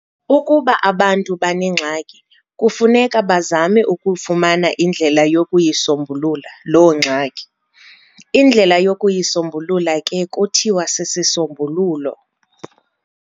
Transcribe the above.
Ukuba abantu banengxaki, kufuneka bazame ukufumana indlela yokuyi"sombulula" loo ngxaki. indlela yokuyisombulula ke kuthiwa sisisombululo.